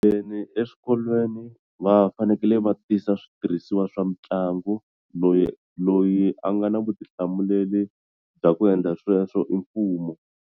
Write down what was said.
Eswikolweni va fanekele va tisa switirhisiwa swa mitlangu loyi loyi a nga na vutihlamuleri bya ku endla sweswo i mfumo.